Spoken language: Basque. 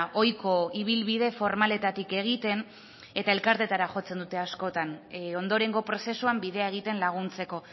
ohiko ibilbide formaletatik egiten eta elkarteetara jotzen dute askotan ondorengo prozesuan bidea egiten laguntzeko